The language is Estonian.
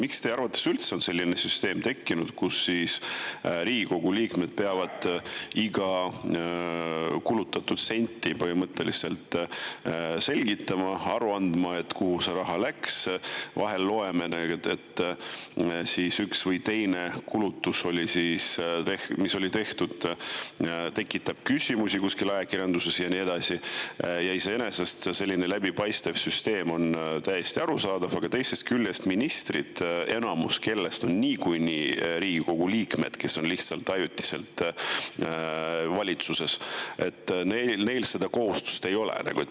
Miks teie arvates üldse on selline süsteem tekkinud, et Riigikogu liikmed peavad põhimõtteliselt iga kulutatud senti selgitama, aru andma, kuhu see raha läks – vahel loeme, et üks või teine tehtud kulutus tekitab kuskil ajakirjanduses küsimusi ja nii edasi, iseenesest selline läbipaistev süsteem on täiesti arusaadav –, aga ministritel, kellest enamus on niikuinii Riigikogu liikmed, kes on lihtsalt ajutiselt valitsuses, seda kohustust ei ole?